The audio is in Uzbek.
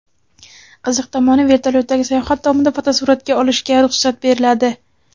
Qiziq tomoni, vertolyotdagi sayohat davomida fotosuratga olishga ruxsat beriladi.